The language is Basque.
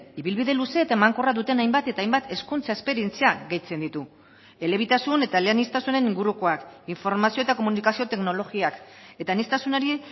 ibilbide luze eta emankorra duten hainbat eta hainbat hezkuntza esperientzia gehitzen ditu elebitasun eta eleaniztasunen ingurukoak informazio eta komunikazio teknologiak eta aniztasunari